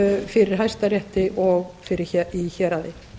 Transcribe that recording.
fyrir hæstarétti og í héraði